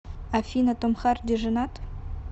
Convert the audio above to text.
афина том харди женат